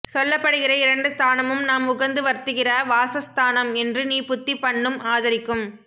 சொல்லப் படுகிற இரண்டு ஸ்தானமும் நாம் உகந்து வர்த்திக்கிற வாசஸ் ஸ்தானம் என்று நீ புத்தி பண்ணும் ஆதரிக்கும்